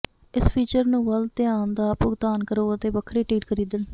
ਇਸ ਫੀਚਰ ਨੂੰ ਵੱਲ ਧਿਆਨ ਦਾ ਭੁਗਤਾਨ ਕਰੋ ਅਤੇ ਵੱਖਰੇ ਟਿਕਟ ਖਰੀਦਣ